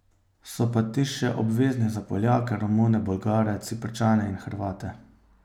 So pa ti še obvezni za Poljake, Romune, Bolgare, Ciprčane in Hrvate.